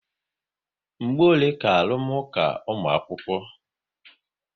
Mgbe ole ka arụmụka ụmu̻akwukwo?